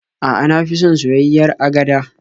A'a, na fi son soyayyiyar agada.